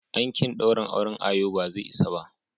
Ankin daurin auren ayo bazai isa ba.